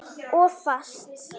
Of fast.